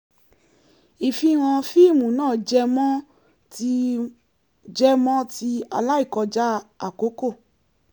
ìfihàn fíìmù náà jẹ́ mọ ti jẹ́ mọ ti aláìkọjá àkókò